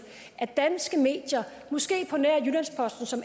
at danske medier måske på nær jyllands posten som